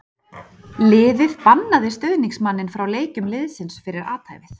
Liðið bannaði stuðningsmanninn frá leikjum liðsins fyrir athæfið.